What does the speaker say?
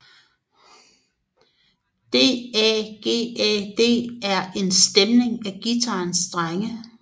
DADGAD er en stemning af guitarens strenge